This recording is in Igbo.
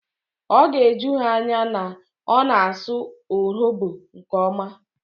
Ọ ga-eju ha anya na ọ na-asụ Urhobo nke ọma